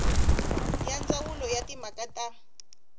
ya ndzawulo ya timhaka ta